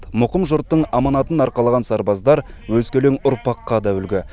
мұқым жұрттың аманатын арқалаған сарбаздар өскелең ұрпаққа да үлгі